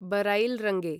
बरैल् रङ्गे